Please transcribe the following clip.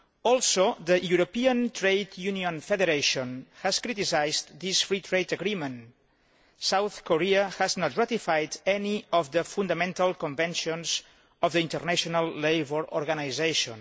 Also, the European Trade Unions Federation has criticised this free trade agreement. South Korea has not ratified any of the fundamental conventions of the International Labour Organisation.